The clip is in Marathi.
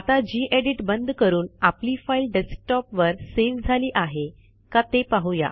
आता जी एडिट बंद करून आपली फाईल डेस्कटॉपवर सेव्ह झाली आहे का ते पाहू या